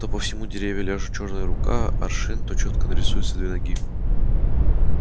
то по всему дереву ляжет чёрная рука аршин то чётко нарисуются две ноги